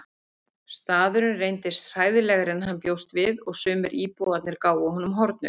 Staðurinn reyndist hræðilegri en hann bjóst við og sumir íbúarnir gáfu honum hornauga.